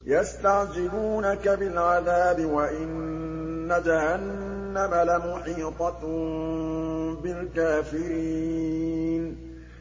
يَسْتَعْجِلُونَكَ بِالْعَذَابِ وَإِنَّ جَهَنَّمَ لَمُحِيطَةٌ بِالْكَافِرِينَ